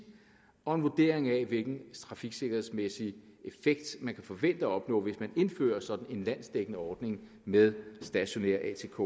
og en vurdering af hvilken trafiksikkerhedsmæssig effekt man kan forvente at opnå hvis man indfører sådan en landsdækkende ordning med stationær atk